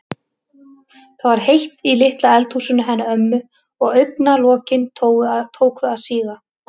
Það var heitt í litla eldhúsinu hennar ömmu og augna- lokin tóku að síga.